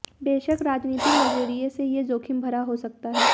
बेशक राजनीतिक नज़रिये से ये जोखिमभरा हो सकता है